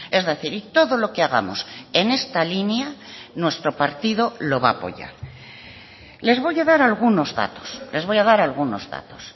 es decir y todo lo que hagamos en esta línea nuestro partido lo va a apoyar les voy a dar algunos datos les voy a dar algunos datos